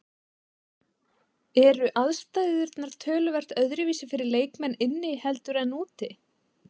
Eru aðstæðurnar töluvert öðruvísi fyrir leikmenn inni heldur en úti?